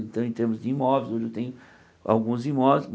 Então, em termos de imóveis, hoje eu tenho alguns imóveis.